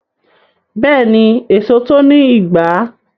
Beeni, eso to ni igba